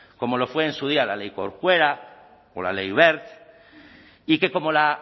como lo fue en su día la ley corcuera o la ley wert y que como la